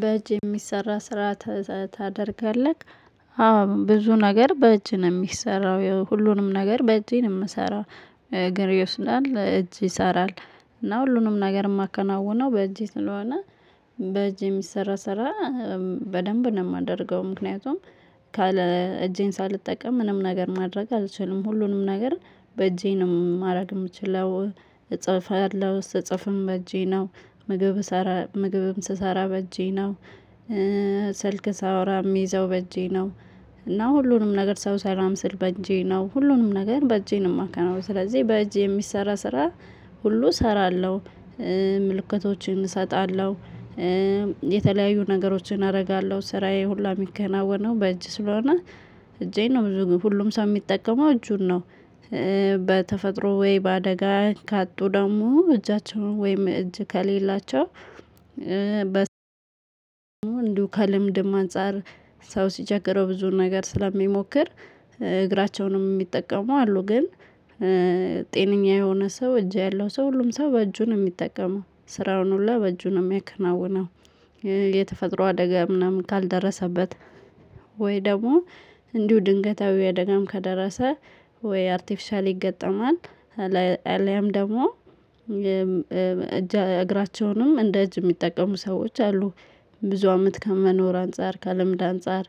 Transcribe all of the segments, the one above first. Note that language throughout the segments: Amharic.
በእጅ የሚሰራ ስራ ታደርጋለህ አዎ ብዙ ነገር በእጅ ነው የሚሰራው ሁሉንም ነገር በእጄ ነው የምሰራው። እግድ ይወስናል እጅ ይሰራል። እና ሁሉንም ነገር የማከናውነው በእጄ ስለሆነ በእጄ የሚሰራ ስራ በደንብ ነው የማደርገው። ምክንያቱም ካለ እጄን ሳልጠቀም ምንም ነገር ማድረግ አልችልም። ሁሉንም ነገር በእጄ ነው ማድረግ የምችለው እጽፋለሁ ስጽፍም በእጄ ነው ምግብ ስራ ምግብም ስሰራ በእጄ ነው። ስልክ ሳወራ የሚይዘው በእጄ ነው። እና ሁሉንም ነገር ሰው ሰላም ስል በእጄ ነው ሁሉንም ነገር በእጄ ነው የማካነው። ስለዚህ በእጄ የሚሰራ ስራ ሁሉ እሰራለሁ። ምልክቶችን እሰጣለሁ። የተለያዩ ነገሮችን አደርጋለሁ ስራዬ ሁላ የሚገናወነው በእጅ ስለሆነ። እጄን ነው ብዙ ግን ሁሉም ሰው የሚጠቀመው እጁን ነው። በተፈጥሮ ወይ በአደጋ ካጡ ደግሞ እጃቸውን ወይም እጅ ከሌላቸው በስተቀር። ከልምድም አንፃር ሰው ሲቸገረው ብዙ ነገር ስለሚሞክር እግራቸውንም የሚጠቀሙ አሉ። ግን ጤነኛ የሆነ ሰው እጅ ያለው ሰው ሁሉም ሰው በእጁ ነው የሚጠቀሙ ስራውን ሁሉ በእጁ ነው የሚከናወነው። የተፈጥሮ አደጋ ምናምን ካልደረሰበት ወይ ደግሞ እንዲሁ ድንገታዊ ደጋም ከደረሰ ወይ አርቲፊሻል ይገጠማል። አለያም ደግሞ እጅ እግራቸውንም እንደ እጅ የሚጠቀሙ ሰዎች አሉ። ብዙ አመት ከመኖር አንፃር ከልምድ አንፃር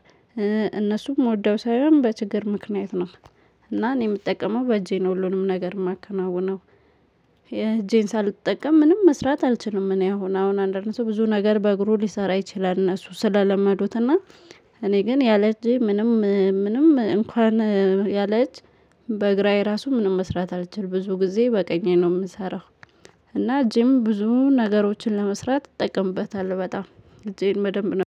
እነሱም የምወደው ሳይሆን በችግር ምክንያት ነው። እና እኔ የምጠቀመው በእጄ ነው ሁሉንም ነገር የማከናውነው። እጄን ሳልጠቀም ምንም መስራት አልችልም። እኔ አሁን አሁን አንደርነት ብዙ ነገር በእግሩ ሊሰራ ይችላል። እነሱ ስለለመዱት እና እኔ ግን ያለች ምንም ምንም እንኳን ያለች በእግ በግራዬ ራሱ ምንም መስራት አልችል ብዙ ጊዜ በቀኝ ነው የምሰራው። እና እጄም ብዙ ነገሮችን ለመስራት ትጠቀምበታለህ በጣም እጄን በደንብ ነው።